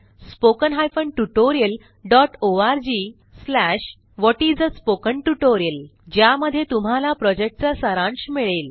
httpspoken tutorialorgWhat is a Spoken Tutorial ज्यामध्ये तुम्हाला प्रॉजेक्टचा सारांश मिळेल